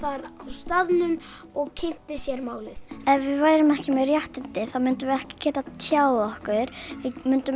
staðnum og kynnti sér málið ef við værum ekki með réttindi þá myndum við ekki geta tjáð okkur við myndum